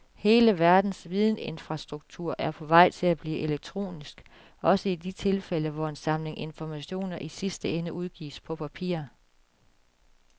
Hele verdens vidensinfrastruktur er på vej til at blive elektronisk, også i de tilfælde hvor en samling informationer i sidste ende udgives på papir.